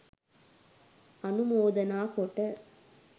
අනුමෝදනා කොට